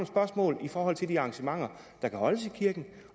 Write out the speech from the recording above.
spørgsmål i forhold til de arrangementer der kan holdes i kirken